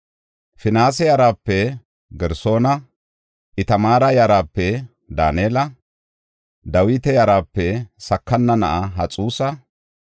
Finihaasa yarape Gersoona, Itamaara yarape Daanela, Dawita yarape Sakana na7aa Haxusa,